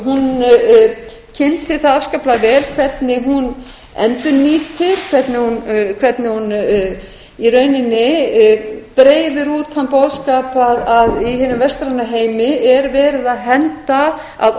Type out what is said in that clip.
hún kynnti það afskaplega vel hvernig hún endurnýtir hvernig hún í rauninni breiðir út þann boðskap að í hinum vestræna heimi er verið að henda að